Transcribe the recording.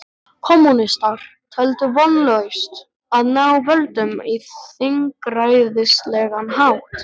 Kommúnistar töldu vonlaust að ná völdum á þingræðislegan hátt.